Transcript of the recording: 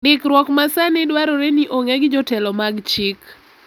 Ndikruok ma sani dwarore ni ong’e gi jotelo mag chik.